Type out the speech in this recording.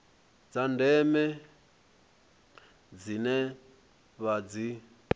dza ndeme dzine vha dzi